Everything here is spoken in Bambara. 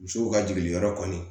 Musow ka jigin yɔrɔ kɔni